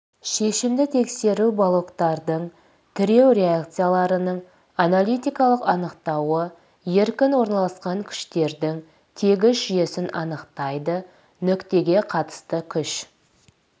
шешімді тексеру балоктардың тіреу реакцияларының аналитикалық анықтауы еркін орналасқан күштердің тегіс жүйесін анықтайды нүктеге қатысты күш